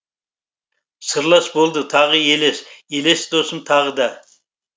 сырлас болды тағы елес елес досым тағы да